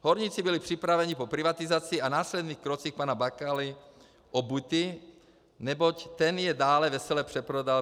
Horníci byli připraveni po privatizaci a následných krocích pana Bakaly o byty, neboť ten je dále vesele přeprodal.